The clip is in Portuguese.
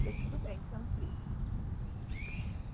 Falei, tudo bem, tranquilo.